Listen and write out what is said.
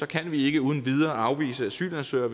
kan vi ikke uden videre afvise asylansøgere